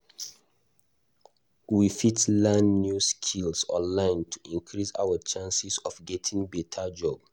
We fit learn new skills online to increase our chances of getting beta job.